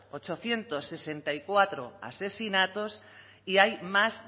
ochocientos sesenta y cuatro asesinatos y hay más